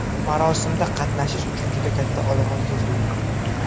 Marosimda qatnashish uchun juda katta olomon yig‘ildi.